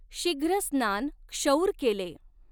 शीघ्र स्नान क्षौर केलें।